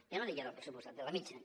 ja no diem del pressupostat de la mitjana